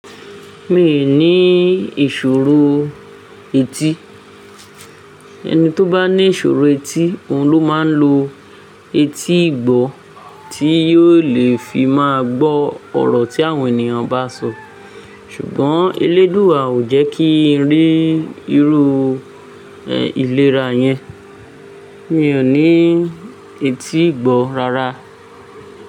Mi ò ní ìṣòro etí. Ẹni tó bá ní ìṣòro etí, òun ló máa ń lo etí ìgbọ́ tí yóò lè fi máa gbọ́ ọ̀rọ̀ tí àwọn ènìyàn bá ń sọ. Ṣùgbọ́n Elédùà ò jẹ́ kí n rí irú ìlera yẹn. Mi ò ní etí ìgbọ́ rárá.